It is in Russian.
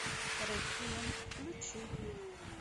реквием включи